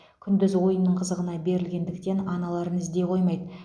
күндіз ойынның қызығына берілетіндіктен аналарын іздей қоймайды